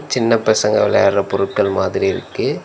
சின்ன பசங்க வெளையாடுற பொருட்கள் மாதிரி இருக்கு.